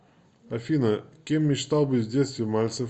афина кем мечтал быть в детстве мальцев